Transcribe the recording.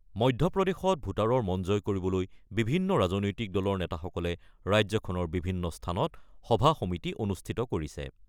মধ্যপ্ৰদেশত ভোটাৰৰ মন জয় কৰিবলৈ বিভিন্ন ৰাজনৈতিক দলৰ নেতাসকলে ৰাজ্যখনৰ বিভিন্ন স্থানত সভা-সমিতি অনুষ্ঠিত কৰিছে।